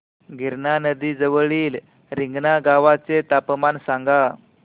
गिरणा नदी जवळील रिंगणगावाचे तापमान सांगा